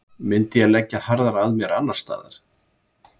Myndi ég leggja harðar að mér annarsstaðar?